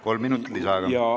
Kolm minutit lisaaega.